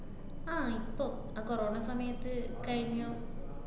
ആഹ് ഇപ്പൊ. ആ corona സമയത്ത് കയിഞ്ഞു.